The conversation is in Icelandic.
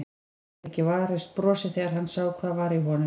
Gat ekki varist brosi þegar hann sá hvað var í honum.